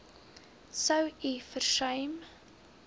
sou u versuim